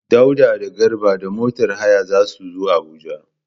Dauda da Garba da motar haya za su zo Abuja.